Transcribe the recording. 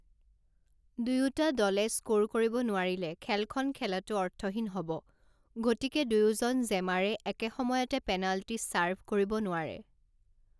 দুয়োটা দলে স্ক'ৰ কৰিব নোৱাৰিলে খেলখন খেলাটো অৰ্থহীন হ'ব, গতিকে, দুয়োজন জেমাৰে একে সময়তে পেনাল্টি চাৰ্ভ কৰিব নোৱাৰে।